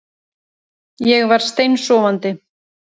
Ég var steinsofandi